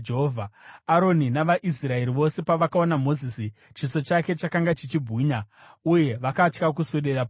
Aroni navaIsraeri vose pavakaona Mozisi, chiso chake chakanga chichibwinya, uye vakatya kuswedera pedyo naye.